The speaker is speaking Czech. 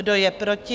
Kdo je proti?